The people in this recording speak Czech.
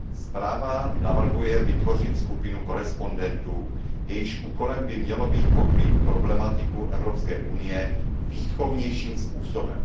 Zpráva navrhuje vytvořit skupinu korespondentů, jejichž úkolem by mělo být pokrýt problematiku Evropské unie výchovnějším způsobem.